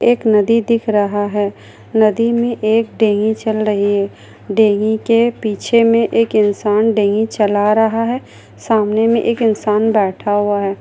एक नदी दिख रहा है नदी मे एक डेंगी चल रही है डेंगी के पीछे मे एक इंसान डेंगी चला रहा है सामने मे एक इंसान बैठा हुआ है।